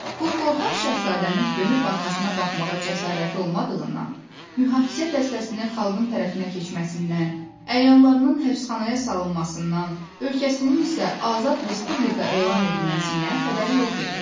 Bu qorxaq şahzadənin dönüb arxasına baxmağa cəsarəti olmadığından, mühafizə dəstəsinin xalqın tərəfinə keçməsindən, əyanlarının həbsxanaya salınmasından, ölkəsinin isə azad respublika elan edilməsindən xəbəri yox idi.